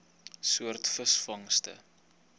soort visvangste